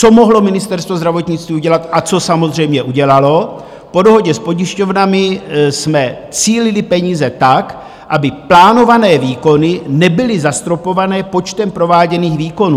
Co mohlo Ministerstvo zdravotnictví udělat a co samozřejmě udělalo, po dohodě s pojišťovnami jsme cílili peníze tak, aby plánované výkony nebyly zastropované počtem prováděných výkonů.